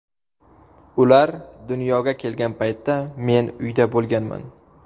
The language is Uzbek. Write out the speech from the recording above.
Ular dunyoga kelgan paytda men uyda bo‘lganman.